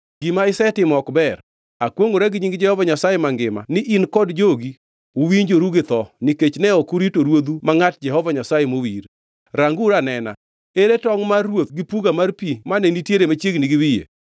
Saulo nochamo dwond Daudi mowacho niya, “Mano en dwondi Daudi wuoda?” Daudi nodwoke niya, “Ee mano dwonda ruodha ma ruoth.”